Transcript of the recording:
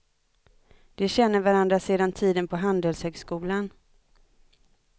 De känner varandra sedan tiden på handelshögskolan.